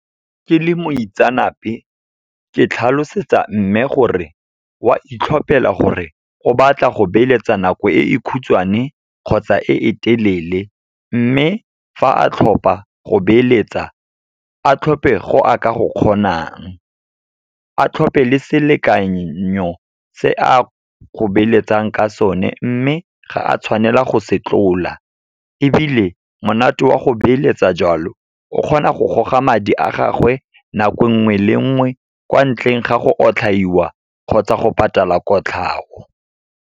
Ke le moitseanape, ke tlhalosetsa mme gore wa itlhopela gore go batla go beeletsa nako e e khutshwane kgotsa e e telele. Mme fa a tlhopha go beeletsa, a tlhophe go a ka go kgonang. A tlhophe le selekanyo se a go beeletsang ka sone, mme ga a tshwanela go se tlola. Ebile monate wa go beeletsa joalo, o kgona go goga madi a gagwe nako nngwe le nngwe, kwa ntleng ga go otlhaiwa kgotsa go patala kotlhao.